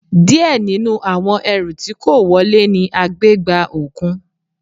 Díẹ̀ nínú àwọn ẹrù tí kó wọle ni a gbé gba òkun.